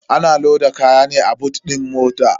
Ana loda kaya ne a boot din mota.